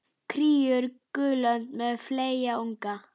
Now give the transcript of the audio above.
Kríur, gulönd með fleyga unga.